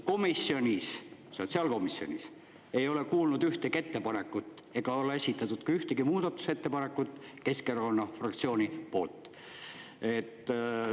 Komisjonis, sotsiaalkomisjonis, ei ole kuulnud ühtegi ettepanekut ega ole esitatud ka ühtegi muudatusettepanekut Keskerakonna fraktsiooni poolt.